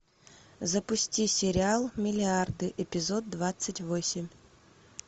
запусти сериал миллиарды эпизод двадцать восемь